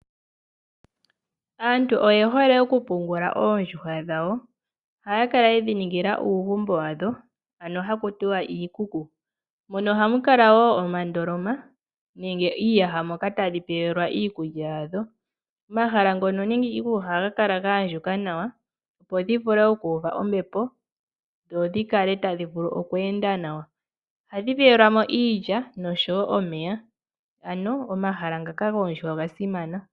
Aantu oye hole okupungula oondjuhwa dhawo ohaya kala yedhi ningila uugumbo wadho ano haku tiwa iikuku. Mono ohamu kala wo omandoloma nenge iiyaha moka tadhi pewelwa iikulya yadho. Omahala ngono nenge iikuku ohayi kala gaandjuka nawa opo dhi vule okuuva ombepo dho dhi kale tadhi vulu okweenda nawa. Ohadhi pewelwa mo iilya noshowo omeya. Ano omahala ngaka goondjuhwa oga simana.